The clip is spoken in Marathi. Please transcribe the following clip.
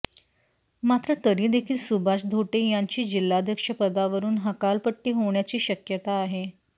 मात्र तरी देखील सुभाष धोटे यांची जिल्हाध्यक्ष पदावरून हकालपट्टी होण्याची शक्यता आहे